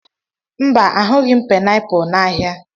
Mba, ahụghị m painiapulu n'ahịa.